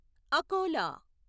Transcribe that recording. Akola